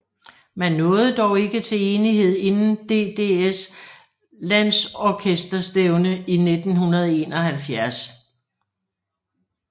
Man nåede dog ikke til enighed inden DDS landsorkesterstævnet i 1971